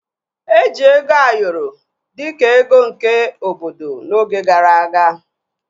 Eji ego Ayoro dịka ego nke obodo n'oge gara aga